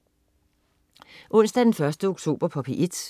Onsdag den 1. oktober - P1: